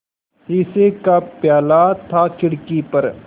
शीशे का प्याला था खिड़की पर